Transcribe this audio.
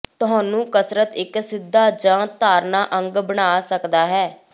ਤੁਹਾਨੂੰ ਕਸਰਤ ਇੱਕ ਸਿੱਧਾ ਜ ਧਾਰਨਾ ਅੰਗ ਬਣਾ ਸਕਦਾ ਹੈ